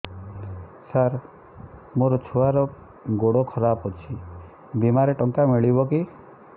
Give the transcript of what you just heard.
ସାର ମୋର ଛୁଆର ଗୋଡ ଖରାପ ଅଛି ବିମାରେ ଟଙ୍କା ମିଳିବ କି